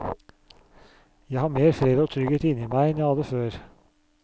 Jeg har mer fred og trygghet inne i meg enn jeg hadde før.